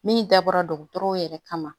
Min dabɔra dɔgɔtɔrɔw yɛrɛ kama